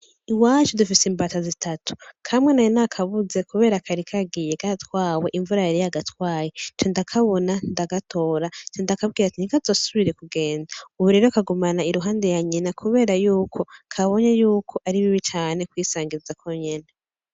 Iwacu dufise imbata zitatu, kamwe nari nakabuze kubera kari kagiye katwawe imvura yari yagatwaye nca ndakabona ndagatora nca ndakabwira ati ntikazosubire kugenda ubu rero kagumana iruhande ya nyina kubera yuko kabonye yuko ari bibi cane kwisangiza konyene.